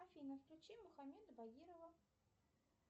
афина включи мухаммеда багирова